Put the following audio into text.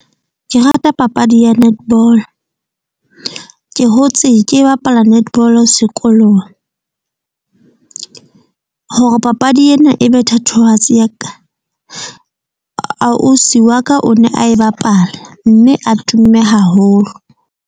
Ke rata papadi ya netball, ke hotse ke bapala netball-o sekolong. Hore papadi ena ebe thatohatsi ya ka, ausi wa ka o ne a bapala mme a tumme haholo.